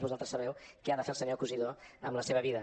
vosaltres sabeu què ha de fer el senyor cosidó amb la seva vida